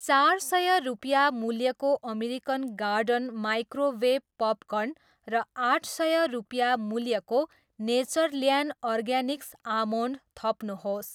चार सय रुपियाँ मूल्यको अमेरिकन गार्डन माइक्रोवेभ पपकर्न र आठ सय रुपियाँ मूल्यको नेचरल्यान्ड अर्गानिक्स आमोन्ड थप्नुहोस्।